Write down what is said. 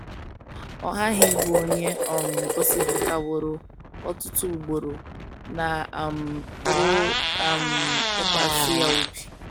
Ọ ghaghị ịbụ onye um gosipụtaworo ọtụtụ ugboro na a um pụrụ um ịtụkwasị ya obi.